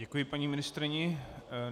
Děkuji paní ministryni.